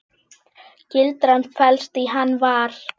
Gildran felst í Hann var.